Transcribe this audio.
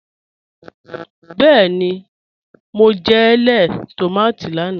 Bẹẹ́ni, mo jẹ̀ lẹẹ̀ tomati lánà.